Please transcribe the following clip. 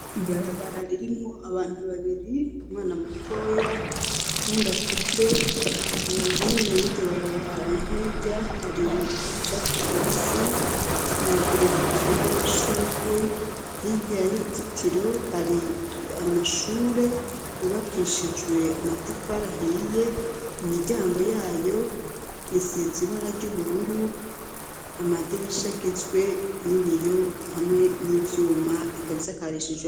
Ribarabara ririmwo abantu babiri umwana mutoya kundakuze ahino y'iryo barabara na hirya hari icatsi kibisi uruzitiro rw'amashurwe hirya y'uruzitiro hari amashure yubakishijwe amatafara hiya imiryango yayo isiza ibara ry'ubururu amadirisha agizwe n'ibiyo hamwe n'ivyuma ikabisakarishijwe.